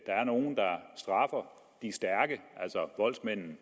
er nogle der straffer de stærke altså voldsmændene